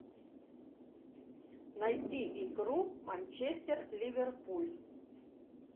найти игру манчестер ливерпуль